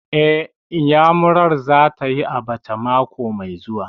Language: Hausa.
Eh, Iyamurar za ta yi abacha mako mai zuwa